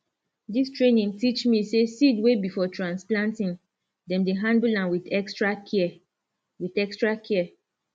dis training teach me say seed wey be for transplanting dem dey handle am with extra care with extra care